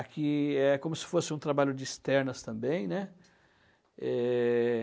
Aqui é como se fosse um trabalho de externas também, né? Eh...